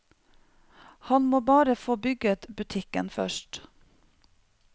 Han må bare få bygget butikken først.